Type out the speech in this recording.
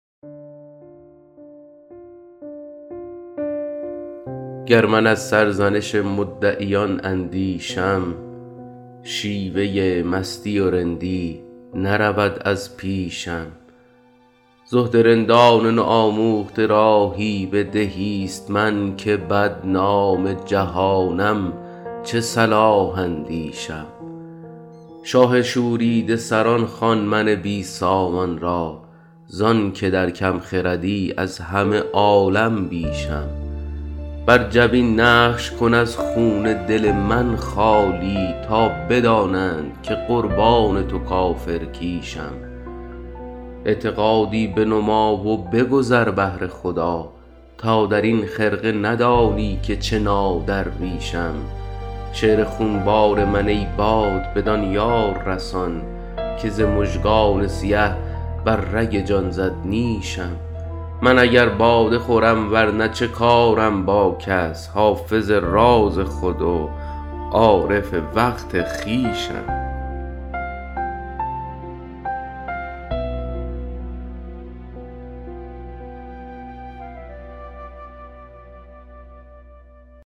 گر من از سرزنش مدعیان اندیشم شیوه مستی و رندی نرود از پیشم زهد رندان نوآموخته راهی به دهیست من که بدنام جهانم چه صلاح اندیشم شاه شوریده سران خوان من بی سامان را زان که در کم خردی از همه عالم بیشم بر جبین نقش کن از خون دل من خالی تا بدانند که قربان تو کافرکیشم اعتقادی بنما و بگذر بهر خدا تا در این خرقه ندانی که چه نادرویشم شعر خونبار من ای باد بدان یار رسان که ز مژگان سیه بر رگ جان زد نیشم من اگر باده خورم ور نه چه کارم با کس حافظ راز خود و عارف وقت خویشم